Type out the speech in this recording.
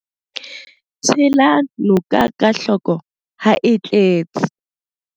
Tshela noka ka hloko ha e tletse.